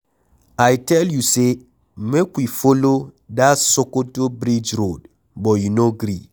I tell you say make we follow dat Sokoto bridge road but you no gree.